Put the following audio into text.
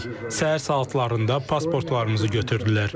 Səhər saatlarında pasportlarımızı götürdülər.